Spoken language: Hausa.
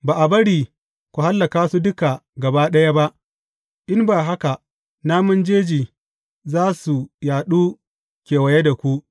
Ba a bari ku hallaka su duka gaba ɗaya ba, in ba haka namun jeji za su yaɗu kewaye da ku.